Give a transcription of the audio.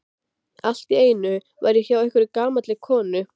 Allt í einu var ég hjá einhverri gamalli konu.